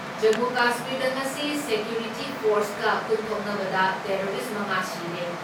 ꯖꯃꯨ ꯀꯁꯃꯤꯔꯗ ꯉꯁꯤ ꯁꯦꯀ꯭ꯌꯨꯔꯤꯇꯤ ꯐꯣꯔꯁꯀ ꯈꯨꯠ ꯊꯣꯛꯅꯕꯗ ꯇꯦꯔꯣꯔꯤꯁ ꯃꯉꯥ ꯁꯤꯔꯦ ꯫